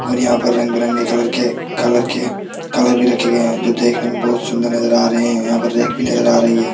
और यहां पर रंग बिरंगे कलर के कलर के कलर भी रखे गए हैं जो देखने में बहुत सुंदर नजर आ रहे हैं यहां पर रैक भी नजर आ रही है।